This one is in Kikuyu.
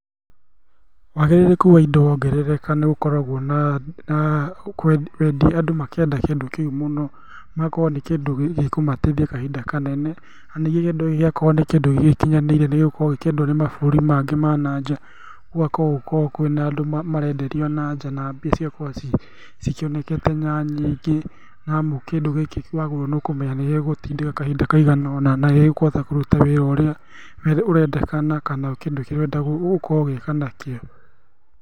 Wagĩrĩrĩku wa indo wongerereka nĩgũkoragwo na andũ makĩenda kĩndũ kĩu mũno, magakorwo nĩ kĩndũ gĩkũmataithia kahinda kanene na nĩ kĩndũ gĩakorwo nĩ kĩndũ gĩgĩkinyanĩire nĩgĩgũkorwo gĩkĩendwo nĩmabũrũri mangĩ ma nanja ũguo gũgakorwo kwĩna andũ marenderio ananja na mbia igakorwo cikĩnekete nyingĩ nĩamu kĩndũ gĩkĩ wagũra nĩũkũmenya nĩgĩgũgũtindĩka kahinda kaigana ũna, na nĩgĩkũhota kũruta wĩra ũrĩa ũrendekana kana kĩndũ kĩrĩa ũtrenda gũkorwo ũgĩka nakĩo.